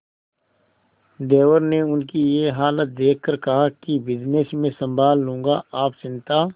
देवर ने उनकी ये हालत देखकर कहा कि बिजनेस मैं संभाल लूंगा आप चिंता